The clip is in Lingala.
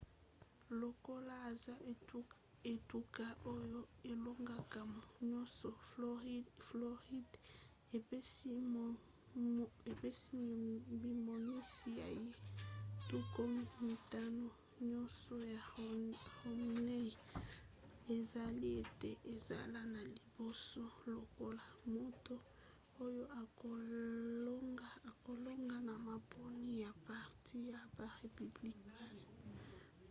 lokola aza etuka oyo elongoka nyonso floride apesi mimonisi na ye tuku mitano nyonso na romney esali ete azala na liboso lokola moto oyo akolonga na maponi ya parti ya ba républicain